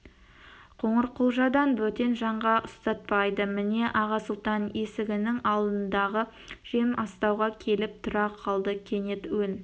қоңырқұлжадан бөтен жанға ұстатпайды міне аға сұлтан есігінің алдындағы жем астауға келіп тұра қалды кенет өн